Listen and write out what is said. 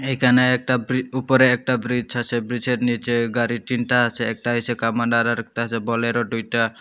এখানে একটা ব্রি উপরে একটা ব্রিজ আছে ব্রিজের নীচে গাড়ি তিনটা আছে একটা আছে কামান আরেকটা আছে বোলেরো দুইটা।